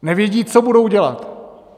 Nevědí, co budou dělat.